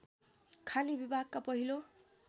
खानी विभागका पहिलो